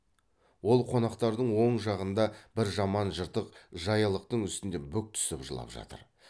ол қонақтардың оң жағында бір жаман жыртық жаялықтың үстінде бүк түсіп жылап жатыр